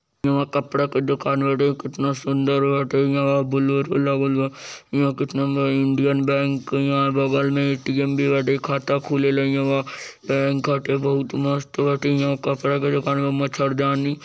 यहा कपड़ा का दुकान बाटे कितना सुंदर बाटे यहां बोलेरो लागल बा यहा कितना बड़ा इंडियन बैंक यहा बगल में ए_टी_एम भी बाटे यहा खाता खुलेला यहा बैंक बाटे बहुत मस्त बाटे यहा कपड़ा के दुकान में मच्छरदानी--